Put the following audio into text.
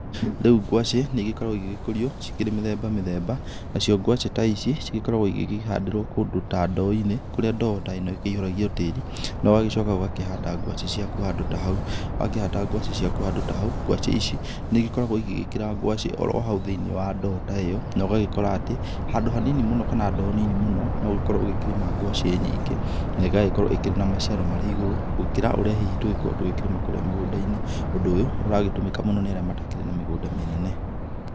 Rĩũ ngwacĩ nĩigĩkoragwo ĩgĩgĩkũrio cikirĩ mĩthemba mĩthemba, nacio ngwacĩ ta ici cigĩkoragwo cikĩhandĩrwo handũ ta ndooinĩ ,kũrĩa ndoo ta ĩno ĩyũiragwo tĩri na ũgagĩcoka ũgakĩhanda ngwacĩ ciaku handũ ta hau, wakĩhanda ngwacĩ ciaku handũ ta hau, ngwacĩ ici nĩikoragwo iggĩgĩkĩra ngwacĩ oro hau thĩinĩ wa ndoo ta ĩyo na ũgagĩkora atĩ handũ hanini mũno kana ndoo nini mũno nogĩkorwo ũkĩrĩma ngwacĩ nyingĩ na igagĩkorwo na maciaro makĩrĩ igũrũ gũkĩra hihi tũngĩkorwo tũkĩrĩma mũgũndainĩ, ũndũ ũyũ nĩ ũratũmĩka mũno kwĩ arĩa matarĩ na mĩgũnda mĩnene.